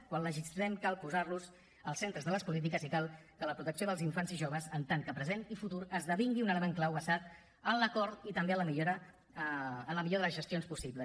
quan legislem cal posar los als centres de les polítiques i cal que la protecció dels infants i joves en tant que present i futur esdevingui un element clau basat en l’acord i també en la millor de les gestions possibles